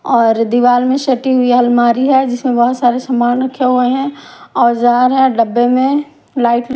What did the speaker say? और दीवाल में सटि हुई अलमारी है जिसमें बहुत सारे सामान रखे हुए हैं औजार हैं डब्बे में लाइट --